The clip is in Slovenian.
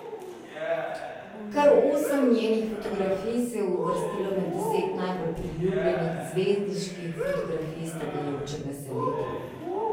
Kar osem njenih fotografij se je uvrstilo med deset najbolj priljubljenih zvezdniških fotografij iztekajočega se leta.